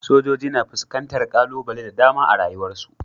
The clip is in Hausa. sojoji na fuskantar kalubale da dama a rayuwarsu.